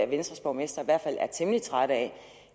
venstres borgmestre i hvert fald er temmelig trætte af